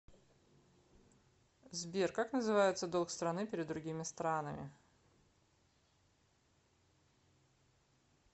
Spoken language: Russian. сбер как называется долг страны перед другими странами